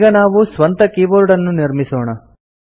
ಈಗ ನಾವು ಸ್ವಂತ ಕೀಬೋರ್ಡನ್ನು ನಿರ್ಮಿಸೋಣ